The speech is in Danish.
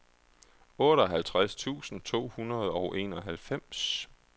otteoghalvtreds tusind to hundrede og enoghalvfems